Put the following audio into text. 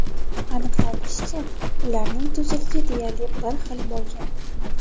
Aniqlanishicha, ularning tuzilishi deyarli bir xil bo‘lgan.